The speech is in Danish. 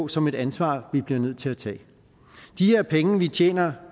som et ansvar vi bliver nødt til at tage de her penge vi tjener